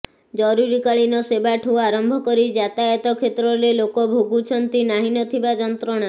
ଜରୁରୀ କାଳୀନ ସେବାଠୁ ଆରମ୍ଭ କରି ଯାତାୟାତ କ୍ଷେତ୍ରରେ ଲୋକ ଭୋଗୁଛନ୍ତି ନାହଁ ନଥିବା ଯନ୍ତ୍ରଣା